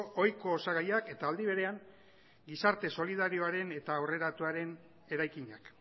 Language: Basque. ohiko osagaiak eta aldi berean gizarte solidarioaren eta aurreratuaren eraikinak